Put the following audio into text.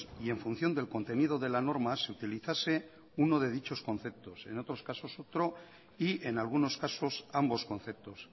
y en función del contenido de la norma se utilizase uno de dichos conceptos en otros casos otro y en algunos casos ambos conceptos